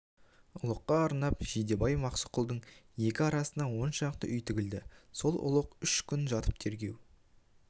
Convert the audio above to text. ұлыққа арнап жидебай мұсақұлдың екі арасына он шақты үй тігілді сол ұлық үш күн жатып тергеу